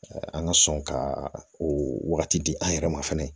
An ka sɔn ka o wagati di an yɛrɛ ma fana